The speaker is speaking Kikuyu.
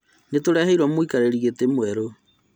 Nĩtũreheirwo mũikarĩri gĩtĩ mwerũ